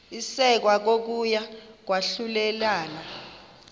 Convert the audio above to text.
isekwa kokuya kwahlulelana